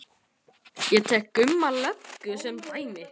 Ég tek Gumma löggu sem dæmi.